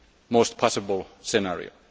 and most possible scenario.